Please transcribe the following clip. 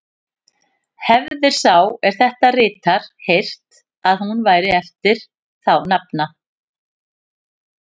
Hefir sá, er þetta ritar, heyrt, að hún væri eftir þá nafna